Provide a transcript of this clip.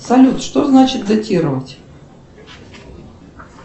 салют что значит датировать